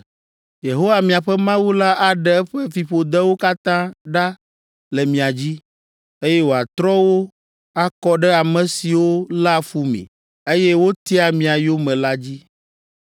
Yehowa, miaƒe Mawu la aɖe eƒe fiƒodewo katã ɖa le mia dzi, eye wòatrɔ wo akɔ ɖe ame siwo léa fu mi, eye wotia mia yome la dzi.